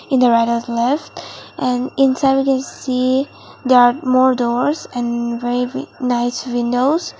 in the left and inside we can see there are more doors and very w nice windows.